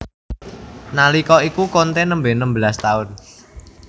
Nalika iku conte nembe enem belas taun